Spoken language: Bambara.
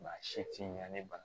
Maa si ti ɲɛ ne ma